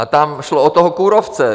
A tam šlo o toho kůrovce.